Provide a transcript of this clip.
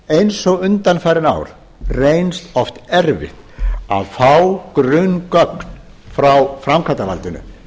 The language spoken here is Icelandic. eins og undanfarin ár reynst oft erfitt að fá grunngögn frá framkvæmdarvaldinu